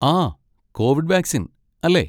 ആ, covid vaccine, അല്ലേ?